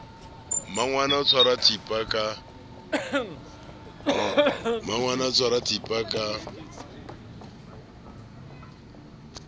mmangwana o tshwara thipa ka